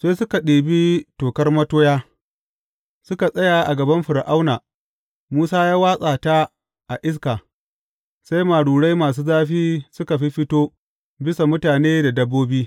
Sai suka ɗibi tokar matoya, suka tsaya a gaban Fir’auna, Musa ya watsa ta a iska, sai marurai masu zafi suka fiffito bisa mutane da dabbobi.